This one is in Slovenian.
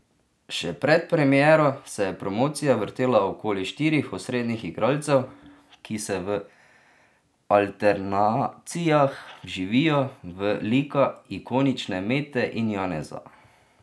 Še pred premiero se je promocija vrtela okoli štirih osrednjih igralcev, ki se v alternacijah vživijo v lika ikonične Mete in Janeza.